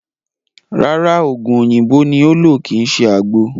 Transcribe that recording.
Rárá, ògùn oòyìnbó ni ó ń lò kíì ṣe àgbo